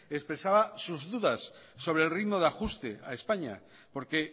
expresaba sus dudas sobre el ritmo de ajuste a españa porque